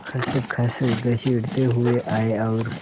खसखस घसीटते हुए आए और